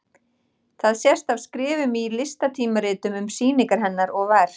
Það sést af skrifum í listatímaritum um sýningar hennar og verk.